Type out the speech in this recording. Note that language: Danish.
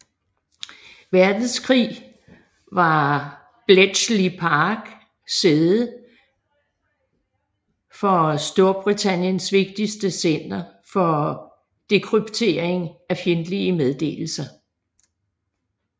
Verdenskrig var Bletchley Park sæde for Storbritanniens vigtigste center for dekryptering af fjendtlige meddelelser